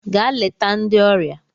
Gaa leta ndị ọrịa!